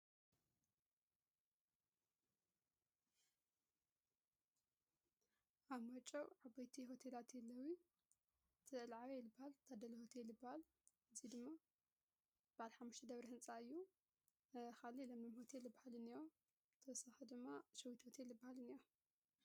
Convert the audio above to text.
ኣ ማጨው ዓበይቲ ሁተ ላትየለዊ ቲዕልዓዊ የልባል ታደልሁተይ የልባል እዙይ ድማ ባል ኃምሽ ደብሪ ሕንፃ እዩ ፤ኻልይ ለምለም ሁትይ ልበሃልን እያ፤ ድማ ሸዊት ወተይ ልበሃልን እያ።